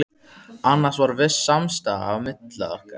Annars var viss samstaða milli okkar